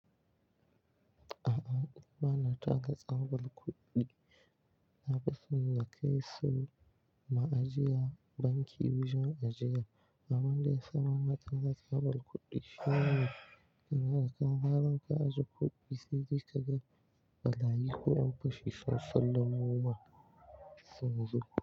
A'a, ba na taka tsabar kuɗi. Na fi son na kai su ma'ajiya banki wajen ajiya. Abin da ya sa ba na taga tsabar kuɗi shine, idan har ka zara ka ajiye kuɗi, sai dai ka gan balayi ko 'yan fashi sun sallamo masun zo.